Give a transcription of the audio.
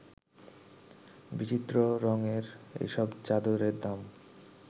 বিচিত্র রংয়ের এসব চাদরের দাম